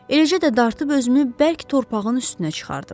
Eləcə də dartıb özümü bərk torpağın üstünə çıxardım.